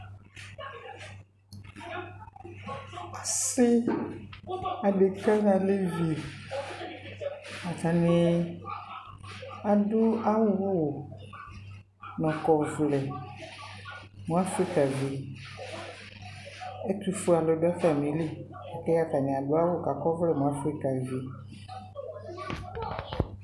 asii adɛka nʋ alɛvi atani adʋ awʋ nakɔ ɔvlɛ mʋ Aƒrika vi, ɛtʋ ƒʋɛ alʋ dʋ atami li, ɛdi atani adʋ awʋkʋakɔ ɔvlɛ mʋ Aƒrika vi